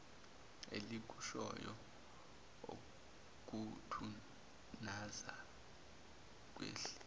elikushoyo okuthunaza kwehlise